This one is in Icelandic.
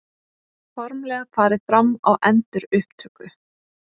Formlega farið fram á endurupptöku